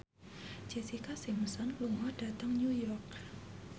Jessica Simpson lunga dhateng New York